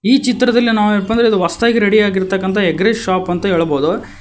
ಈ ಚಿತ್ರದಲ್ಲಿ ನಾವೇನಪ್ಪ ಅಂದ್ರೆ ಇದು ಹೊಸದಾಗಿ ರೆಡಿ ಆಗಿರತಕ್ಕಂತ ಎಗ್ ರೈಸ್ ಶಾಪ್ ಅಂತ ಹೇಳ್ಬೋದು.